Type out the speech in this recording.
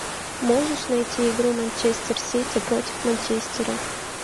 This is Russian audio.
можешь найти игру манчестер сити против манчестера